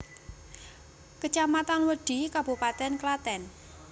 Kecamatan Wedhi Kabupaten Klaten